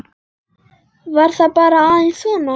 Var það bara aðeins svona?